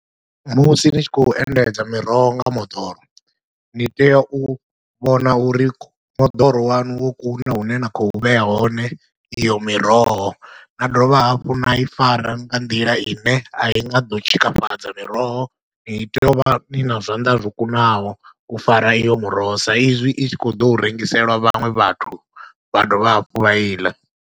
Musi ni tshi khou endedza miroho nga moḓoro ni tea u vhona uri moḓoro waṋu wo kuna hune na khou vhea hone iyo miroho, na dovha hafhu na i fara nga nḓila ine a i nga ḓo tshikafhadza miroho, ni tea u vha ni na zwanḓa zwo kunaho u fara iyo muroho sa izwi i tshi khou ḓo u rengiselwa vhaṅwe vhathu vha dovha hafhu vha i ḽa.